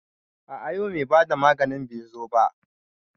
A a yau mai bada maganin bai zo ba.